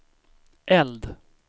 eld